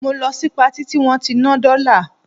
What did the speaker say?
Mo lọ sí Patí tí wọ́n ti ń ná dọ́là